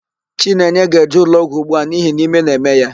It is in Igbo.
Chinenye ga-eje ụlọọgwụ ugbu a n'ihi na ime na-eme ya.